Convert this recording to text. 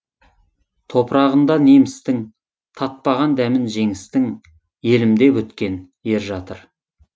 топырағында немістің татпаған дәмін жеңістің елім деп өткен ер жатыр